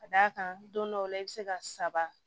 Ka d'a kan don dɔw la i bɛ se ka saba